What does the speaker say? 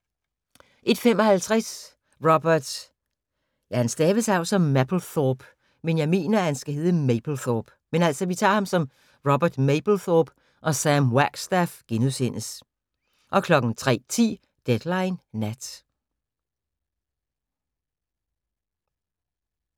01:55: Robert Mapplethorpe og Sam Wagstaff * 03:10: Deadline Nat